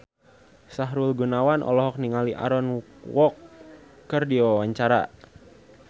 Sahrul Gunawan olohok ningali Aaron Kwok keur diwawancara